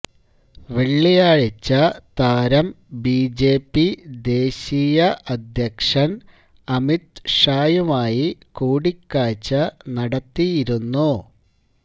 വെള്ളിയാഴ്ച്ച താരം ബിജെപി ദേശീയ അധ്യക്ഷന് അമിത് ഷായുമായി കൂടിക്കാഴ്ച്ച നടത്തിയിരുന്നു